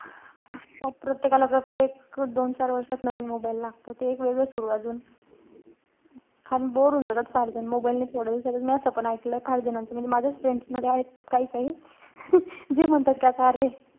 प्रत्येकाला प्रत्येक दोन चार वर्षात नवीन mobile लागतो. ते एक वेगळं सुरूय अजून. कारण bore होऊन जातात फार ते mobile ने थोड्या दिवसातच. मी असं पण एकलंय फार जणांचं. म्हणजे माझ्याच friends मध्ये आहेत काई-काई. जे म्हणतात कि आता अरे,